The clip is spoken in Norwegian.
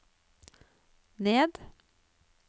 ned